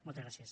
moltes gràcies